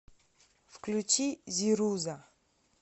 включи зируза